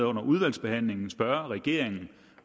under udvalgsbehandlingen spørge regeringen